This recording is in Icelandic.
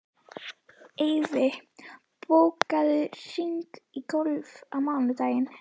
Eyfi, bókaðu hring í golf á mánudaginn.